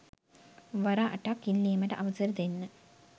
වර අටක් ඉල්ලීමට අවසර දෙන්න.